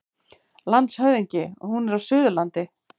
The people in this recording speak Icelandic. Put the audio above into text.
LANDSHÖFÐINGI: Hún er á Suðurlandi.